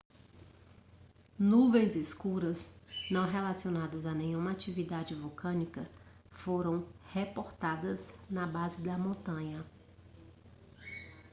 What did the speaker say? nuvens escuras não relacionadas a nenhuma atividade vulcânica foram reportadas na base da montanha